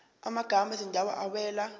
amagama ezindawo awela